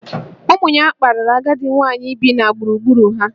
Ụmụ ya kparịrị agadi nwaanyị bi na gburugburu ha